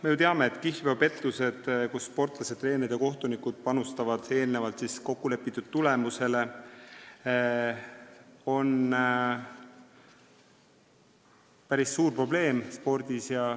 Me ju teame, et kihlveopettused, kui sportlased, treenerid ja kohtunikud panustavad eelnevalt kokkulepitud tulemusele, on spordis päris suur probleem.